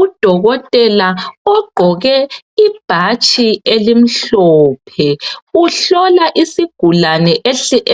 Udokoteka ogqoke ibhatshi elimhlophe. Uhlola isigulane